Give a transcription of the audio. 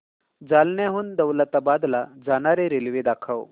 जालन्याहून दौलताबाद ला जाणारी रेल्वे दाखव